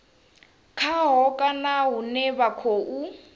khaho kana hune vha khou